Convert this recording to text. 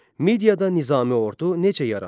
Mediada nizami ordu necə yarandı?